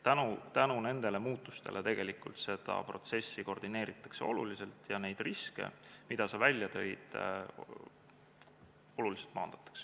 Tänu nendele muutustele tegelikult seda protsessi koordineeritakse ja neid riske, mida sa välja tõid, oluliselt maandatakse.